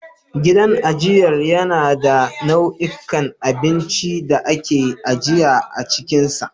Gidan ajiyar yana da nau'ikan abinci da aka ajiye a cikinsa.